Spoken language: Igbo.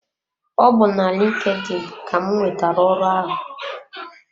Ọ bu na LinkedIn ka m nwetara ọrụ ahụ.